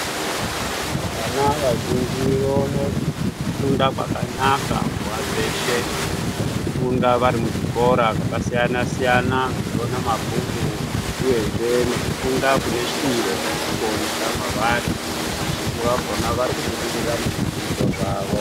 Vana vazhinji voone kufunda kwakanaka nguva dzeshe vechifunda varimuzvikora zvakasiyana siyana vechione mabhuku uyezve nekufunda kune shwiro kurikuoneka mwavari vazhinji vakona varikubudirira muzvidzidzo zvavo .